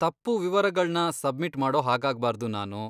ತಪ್ಪು ವಿವರಗಳ್ನ ಸಬ್ಮಿಟ್ ಮಾಡೋಹಾಗಾಗ್ಬಾರ್ದು ನಾನು.